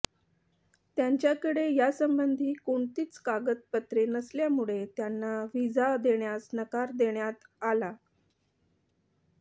त्यांच्याकडे यासंबंधी कोणतीच कागदपत्रे नसल्यामुळे त्यांना व्हिजा देण्यास नकार देण्यात आला